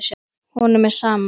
Honum er sama.